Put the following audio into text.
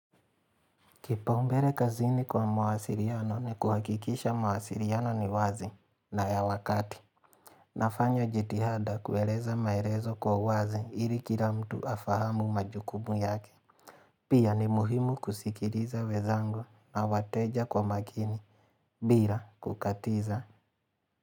Kipaumbele kazini kwa mawasiliano ni kuhakikisha mawasiliano ni wazi na ya wakati. Nafanya jitihada kueleza maelezo kwa uwazi ili kila mtu afahamu majukumu yake. Pia ni muhimu kusikiliza wenzangu na wateja kwa makini. Bila kukatiza.